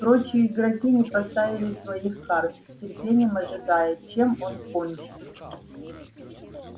прочие игроки не поставили своих карт с нетерпением ожидая чем он кончит